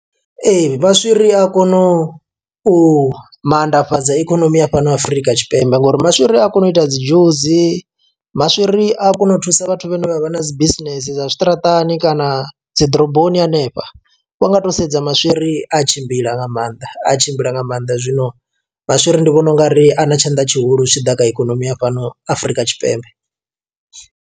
Ee maswiri a kono u manndafhadza ikonomi ya fhano afrika tshipembe ngori maswiri a kona u ita dzi dzhusi, maswiri a kona u thusa vhathu vhane vha vha na dzi bisinese dza zwi ṱaraṱani kana na dzi ḓoroboni hanefha. Vha nga to sedza maswiri a tshimbila nga maanḓa a tshimbila nga maanḓa zwino maswiri ndi vhona ungari a na tshanḓa tshihulu zwi tshi ḓa kha ikonomi ya fhano Afurika Tshipembe.